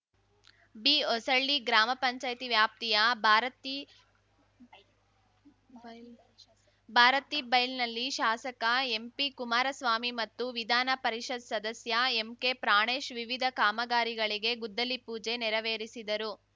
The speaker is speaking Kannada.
ಬಿಹೊಸಳ್ಳಿ ಗ್ರಾಮಪಂಚಾಯ್ತಿ ವ್ಯಾಪ್ತಿಯ ಬೈಲ್ ಭಾರತಿಬೈಲ್‌ನಲ್ಲಿ ಶಾಸಕ ಎಂಪಿ ಕುಮಾರಸ್ವಾಮಿ ಮತ್ತು ವಿಧಾನ ಪರಿಷತ್ ಸದಸ್ಯ ಎಂಕೆ ಪ್ರಾಣೇಶ್‌ ವಿವಿಧ ಕಾಮಗಾರಿಗಳಿಗೆ ಗುದ್ದಲಿ ಪೂಜೆ ನೆರವೇರಿಸಿದರು